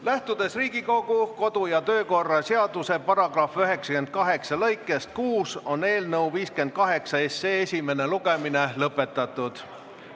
Lähtudes Riigikogu kodu- ja töökorra seaduse § 98 lõikest 6, on eelnõu 58 esimene lugemine lõpetatud.